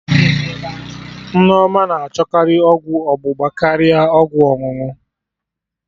Nneoma na achọkarị ọgwụ ọgbụgba karịa ọgwụ ọṅụṅụ